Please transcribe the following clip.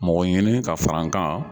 Mɔgɔ ɲini ka fara n kan